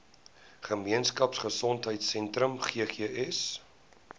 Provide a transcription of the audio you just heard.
gemeenskap gesondheidsentrum ggs